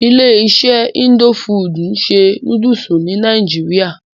Ilé iṣé indo fudù ń ṣe nódúsì ní nàìjíría.